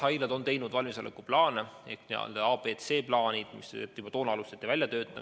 Jah, haiglad on teinud valmisolekuplaane ehk A-, B- ja C-plaanid, mida hakati välja töötama juba toona.